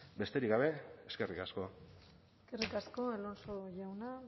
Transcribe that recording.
besterik gabe eskerrik asko eskerrik asko alonso jauna